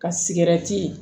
Ka